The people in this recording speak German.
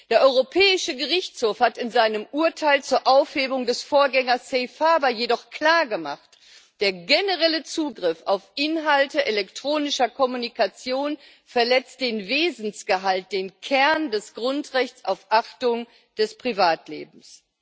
Der Europäische Gerichtshof hat in seinem Urteil zur Aufhebung des Vorgängers Safe Harbour jedoch klargemacht Der generelle Zugriff auf Inhalte elektronischer Kommunikation verletzt den Wesensgehalt, den Kern des Grundrechts auf Achtung des Privatlebens.